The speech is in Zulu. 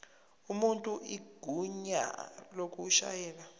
umuntu igunya lokushayela